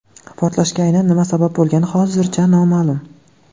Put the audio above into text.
Portlashga aynan nima sabab bo‘lgani hozircha noma’lum.